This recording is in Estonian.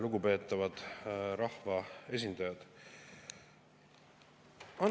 Lugupeetavad rahvaesindajad!